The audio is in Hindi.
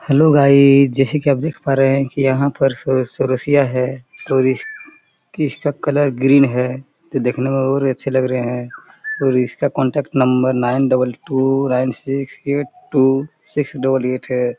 हेलो गाइस जैसे की आप देख पा रहे है की यहाँ पर सो सो चरोसिया है और इस इसका कलर ग्रीन है देखने में और अच्छे लग रहे है और इसका contact number nine double two nine six eight two six double eight है।